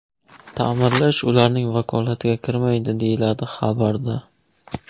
Ta’mirlash ularning vakolatiga kirmaydi, deyiladi xabarda.